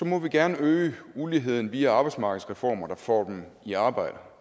må vi gerne øge uligheden via arbejdsmarkedsreformer der får dem i arbejde